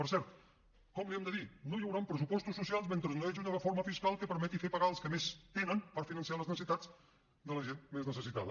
per cert com l’hi hem de dir no hi hauran pressupostos socials mentre no hi hagi una reforma fiscal que permeti fer pagar els que més tenen per finançar les necessitats de la gent més necessitada